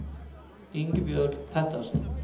Ingebjørg Pettersen